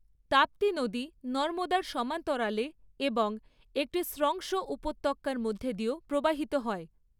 তাপ্তি নদী নর্মদার সমান্তরালে এবং একটি স্রংস উপত্যকার মধ্য দিয়েও প্রবাহিত হয়।